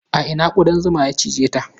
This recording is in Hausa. A ina ƙudan zuman ya cije ta?